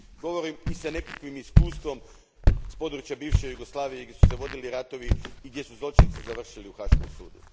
Govorim i s nekakvim iskustvom s područja bivše Jugoslavije gdje su se vodili ratovi i gdje su zločinci završili na Haškom sudu.